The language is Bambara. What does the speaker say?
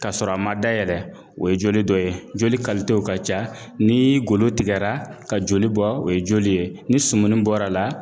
Ka sɔrɔ a ma dayɛlɛ o ye joli dɔ ye joli ka ca ni golo tigɛra ka joli bɔ o ye joli ye ni sɔmuni bɔra a la